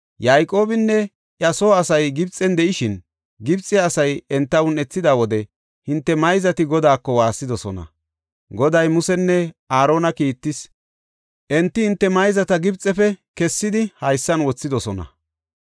Yayqoobinne iya soo asay Gibxen de7ishin, Gibxe asay enta un7ethida wode hinte mayzati Godaako waassidosona. Goday Musenne Aarona kiittis; enti hinte mayzata Gibxefe kessidi haysan wothidosona.